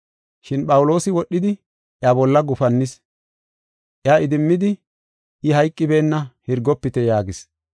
Shin Phawuloosi wodhidi, iya bolla gufannis. Iya idimmidi, “I hayqibeenna, hirgofite” yaagis.